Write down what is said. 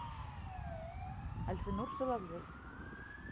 альфинур соловьев